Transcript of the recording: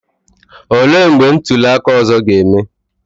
Olee mgbe ntuli aka ọzọ ga-eme?